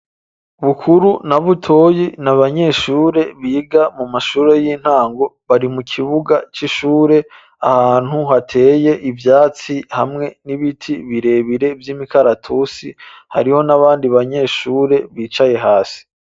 Bukuru na Butoyi, ni abanyeshure, biga mu mashure y'intango; bari mu kibuga c'ishure, ahantu hateye ivyatsi, hamwe n'ibiti birebire, vy'imikaratusi; hariho n'abandi banyeshure, bicaye hasi.